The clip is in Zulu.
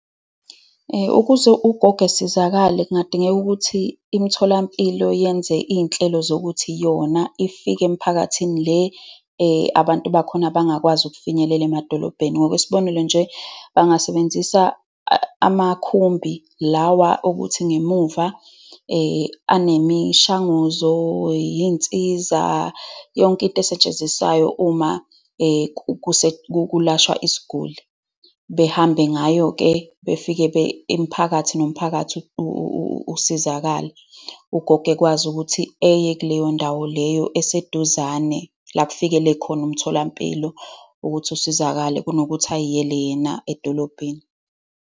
Ukuze ugogo esizakale, kungadingeka ukuthi imitholampilo yenze iy'nhlelo zokuthi yona ifike emiphakathini le abantu bakhona abangakwazi ukufinyelela emadolobheni. Ngokwesibonelo nje, bangasebenzisa amakhumbi lawa okuthi ngemuva anemishanguzo iy'nsiza, yonke into esetshenziswayo uma kulashwa isiguli. Behambe ngayo-ke, befike imiphakathi nomphakathi usizakale. Ugogo ekwazi ukuthi eye kuleyo ndawo leyo eseduzane, la kufikele khona umtholampilo, ukuthi usizakale, kunokuthi ay'yele yena edolobheni.